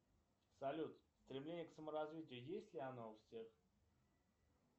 салют стремление к саморазвитию есть ли оно у всех